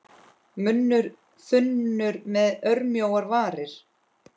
Munnur þunnur með örmjóar varir.